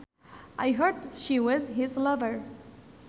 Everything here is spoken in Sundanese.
I heard she was his lover